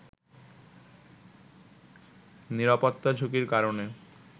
নিরাপত্তা ঝুঁকির কারণে